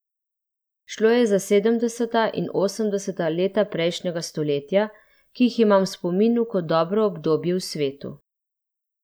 Šlo je za sedemdeseta in osemdeseta leta prejšnjega stoletja, ki jih imam v spominu kot dobro obdobje v svetu.